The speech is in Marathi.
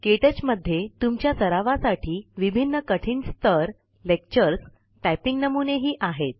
क्टच मध्ये तुमच्या सरावासाठी विभिन्न स्थर लेक्चर्स टाइपिंग नमुने ही आहेत